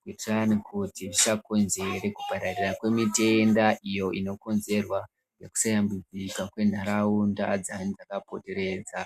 Kuitirani kuti zvisakonzere kupararira kwemitenda iyo inokonzerwa nekusashambidzika kwenharaunda dzayani dzakapoteredza.